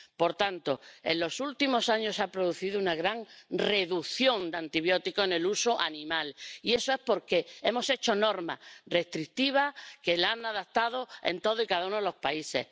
Por tanto, en los últimos años se ha producido una gran reducción de antibióticos en el uso animal porque hemos hecho normas restrictivas que se han adaptado en todos y cada uno de los países.